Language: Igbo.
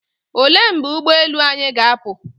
Olee mgbe ụgboelu anyị ga-apụ?